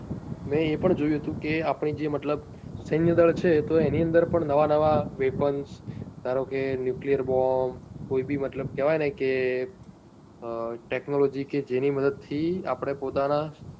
મેં એ પણ જોયું હતું કે આપણે જે મતલબ સેન્ય દળ છે તો એની અંદર પણ નવા નવા weapons માનો કે nuclear bomb કોઈ બી મતલબ કેવાય ને કે technology કે જેની મદદ થી આપણે પોતા ના